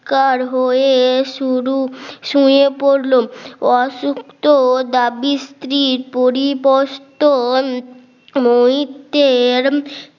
কার হয়ে শুরু শুয়ে পড়ল অসুখ তো দাবির স্ত্রীর পরিবর্তন নয়তের